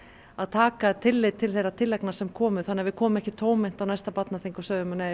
að taka tillit til þeirra tillagna sem komu þannig að við komum ekki tómhent á næsta barnaþing og segjum nei